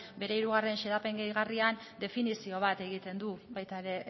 bere hirugarren xedapen gehigarrian definizio bat egiten du baita ere